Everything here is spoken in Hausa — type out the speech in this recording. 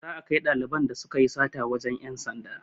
Za a kai ɗaliban da sukayi sata wajen ƴan sanda